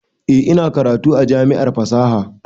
Eh, ina karatu a jami'ar fasaha